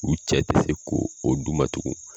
U cɛ tɛ se ko o d'u ma tugun